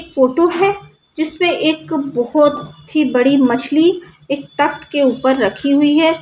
एक फोटो है जिसमें एक बहुत ही बड़ी मछली एक तख्त के ऊपर रखी हुई है।